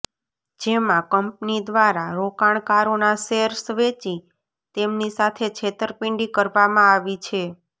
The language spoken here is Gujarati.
જેમાં કંપની દ્વારા રોકાણકારોના શેર્સ વેચી તેમની સાથે છેતરપિંડી કરવામાં આવી છે